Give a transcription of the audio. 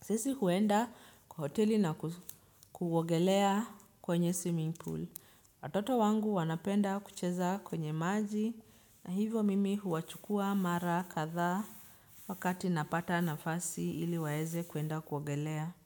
sisi huenda kwa hoteli na kuogelea kwenye swimming pool. Watoto wangu wanapenda kucheza kwenye maji na hivyo mimi huwachukua mara kadha wakati napata nafasi ili waeze kuenda kuogelea.